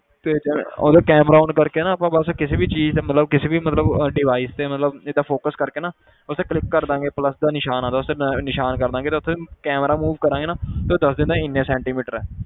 ਤੇ ਜਿਵੇਂ ਉਹਦਾ camera on ਕਰਕੇ ਨਾ ਆਪਾਂ ਬਸ ਕਿਸੇ ਵੀ ਚੀਜ਼ ਤੇ ਮਤਲਬ ਕਿਸੇ ਵੀ ਮਤਲਬ device ਤੇ ਮਤਲਬ ਏਦਾਂ focus ਕਰਕੇ ਨਾ ਉੱਥੇ click ਕਰ ਦੇਵਾਂਗੇ plus ਦਾ ਨਿਸ਼ਾਨ ਆਉਂਦਾ ਉਸ ਤੇ ਨ~ ਨਿਸ਼ਾਨ ਕਰ ਦੇਵਾਂਗੇ ਤੇ ਉੱਥੇ camera move ਕਰਾਂਗੇ ਨਾ ਤੇ ਉਹ ਦੱਸ ਦਿੰਦਾ ਇੰਨੇ ਸੈਟੀਂਮੀਟਰ ਹੈ।